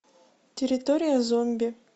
территория зомби